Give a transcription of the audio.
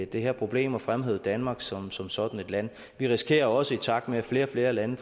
det her problem og fremhævet danmark som som sådan et land vi risikerer også i takt med at flere og flere lande